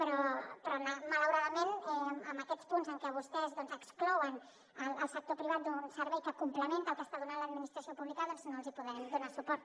però malauradament en aquests punts en què vostès exclouen el sector privat d’un servei que complementa el que està donant l’administració pública doncs no els hi podem donar suport